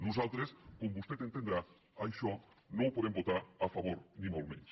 nosaltres com vostè entendrà això no ho po·dem votar a favor ni molt menys